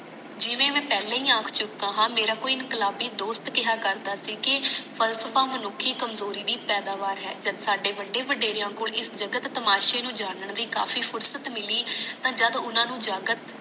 ਜਿਵੇ ਕਿ ਮੈ ਪਹਲਾ ਹੀ ਆਖ ਚੁਕੀਆਂ ਹਾਂ ਮਾਰਾ ਕੋਈ ਇਨਕਲਾਬੀ ਦੋਸਤ ਕਿਹਾ ਕਰਦਾ ਸੀ ਕਿ ਫ਼ਲਸਫ਼ਾ ਮਾਨੁਖਕੀ ਕਮਜ਼ੋਰੀ ਦੀ ਪੈਦਾਵਾਰ ਹੈ ਜਦੋ ਸਾਡੇ ਵੱਡੇ ਵਡੇਰੇ ਕੋਲ ਇਸ ਜਗਤ ਤਮਾਸੇ ਨੂੰ ਜਾਨਣ ਦੀ ਕਾਫੀ ਫੁਰਸਤ ਮਿਲੀ ਜਦ ਓਨਾ ਨੂੰ ਜਗਤ